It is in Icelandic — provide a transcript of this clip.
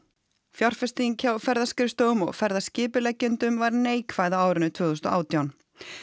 fjárfesting hjá ferðaskrifstofum og var neikvæð á árinu tvö þúsund og átján